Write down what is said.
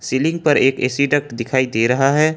Ceiling पर एक AC duct दिखाई दे रहा हैं।